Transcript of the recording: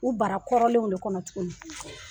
U bara kɔrɔnlenw de kɔnɔ tuguni.